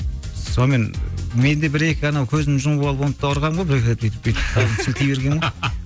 сонымен мен де бір екі анау көзімде жұмып алып оны да ұрғанмын ғой бір екі рет бүйтіп бүйтіп қолымды сілтей бергенмін ғой